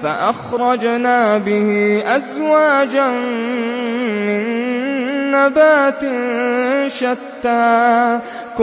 فَأَخْرَجْنَا بِهِ أَزْوَاجًا مِّن نَّبَاتٍ شَتَّىٰ